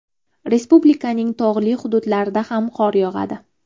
Respublikaning tog‘li hududlarida ham qor yog‘adi.